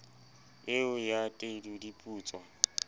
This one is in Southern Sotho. eo ya tedu di putswa